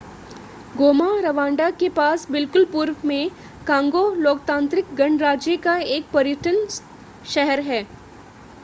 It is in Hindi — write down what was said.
गोमा रवांडा के पास बिल्कुल पूर्व में कांगो लोकतांत्रिक गणराज्य का एक पर्यटन शहर है